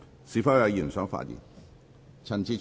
是否有委員想發言？